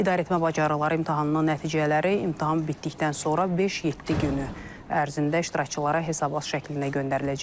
İdarəetmə bacarıqları imtahanının nəticələri imtahan bitdikdən sonra 5-7 günü ərzində iştirakçılara hesabat şəklində göndəriləcək.